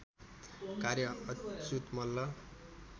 कार्य अच्युत मल्ल